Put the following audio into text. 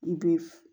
I bɛ